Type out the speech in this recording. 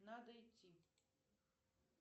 надо идти